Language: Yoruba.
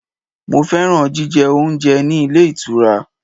Mo fẹ́ràn jíjẹ oúnjẹ ní ilé ìtura.